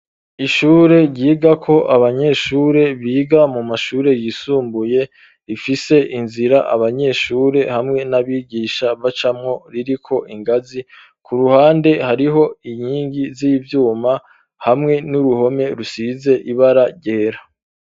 Ishure, ryigako abanyeshure, biga mu mashure yisumbuye; rifise inzira, abanyeshure, hamwe n'abigisha, bacamwo, ririko ingazi; ku ruhande, hariho inkingi z'ivyuma, hamwe n'uruhome, rusize ibara ryera.